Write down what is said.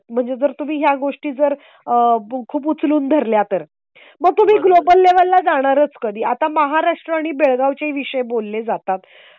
म्हणजे जर तुम्ही या गोष्टीजर आह खूप उचलून धरला तर मग तुम्ही ग्लोबल लेव्हल ला जाणारच, कधी आता महाराष्ट्राने बेळगावचे विषय बोलले जातात